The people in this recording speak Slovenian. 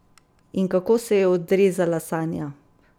In kako se je odrezala Sanja?